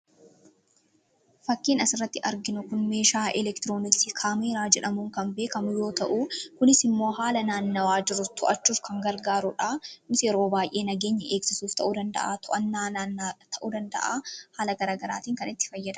Fakkiin asirratti arginu Kun, meeshaa eleektirooniksii kaameeraa jedhamuun kan beekamu yoo ta'u, kunis immoo haala naannawaa jiru to'achuuf gargaarudha. Innis yeroo baayyee nageenya eegsisuuf ta'uu danda'a, To'annaa hannaaf ta'uu danda'a. Haala garaagaraatiin itti fayyadamnudha.